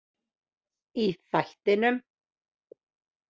Í þættinum.